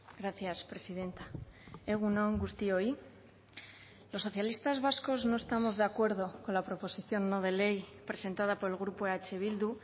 gracias presidenta egun on guztioi los socialistas vascos no estamos de acuerdo con la proposición no de ley presentada por el grupo eh bildu